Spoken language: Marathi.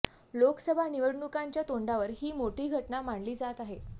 लोकसभा निवडणुकांच्या तोंडावर ही मोठी घटना मानली जात आहे